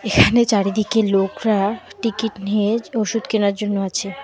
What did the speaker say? এখানে চারিদিকে লোকরা টিকিট নিয়ে ওষুধ কেনার জন্য আছে।